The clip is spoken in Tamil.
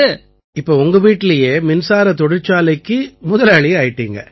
இப்ப உங்க வீட்டிலேயே மின்சாரத் தொழிற்சாலைக்கு முதலாளி ஆயிட்டீங்க